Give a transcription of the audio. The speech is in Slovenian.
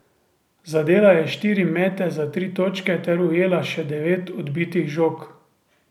Zadela je štiri mete za tri točke ter ujela še devet odbitih žog.